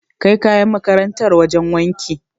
Kai kayan makarantar wajen wanki.